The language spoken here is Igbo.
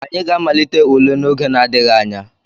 Anyị ga-amalite ule n'oge n'adịghị anya.